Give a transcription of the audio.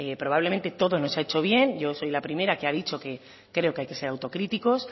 probablemente todo no se ha hecho bien yo soy la primera que he dicho que creo que hay que ser autocríticos